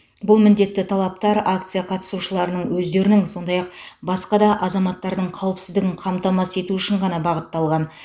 бұл міндетті талаптар акция қатысушыларының өздерінің сондай ақ басқа да азаматтардың қауіпсіздігін қамтамасыз ету үшін ғана бағытталған